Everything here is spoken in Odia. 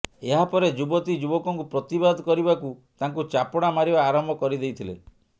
ଏହା ପରେ ଯୁବତୀ ଯୁବକଙ୍କୁ ପ୍ରତିବାଦ କରିବାକୁ ତାଙ୍କୁ ଚାପୁଡ଼ା ମାରିବା ଆରମ୍ଭ କରିଦେଇଥିଲେ